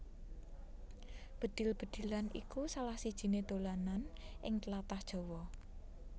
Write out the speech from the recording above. Bedhil bedhilan iku salah sijiné dolanan ing tlatah Jawa